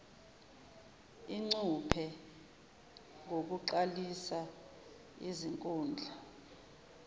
ingcuphe ngokuqalisa izinkundla